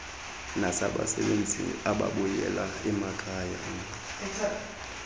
nabasebenzi ababuyela emakhayeni